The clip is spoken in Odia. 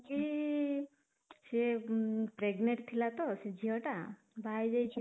ସିଏ pregnant ଥିଲା ତ ସେ ଝିଅ ଟା ବାହା ହେଇଯାଇଛି